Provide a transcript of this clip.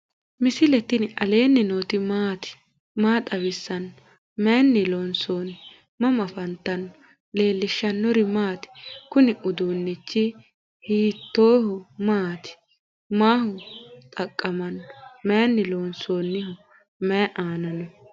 misile tini alenni nooti maati? maa xawissanno? Maayinni loonisoonni? mama affanttanno? leelishanori maati? kuni udunichu hoeisi maati? maaho xaqamano? mayini lonsoniho? mayi anna no?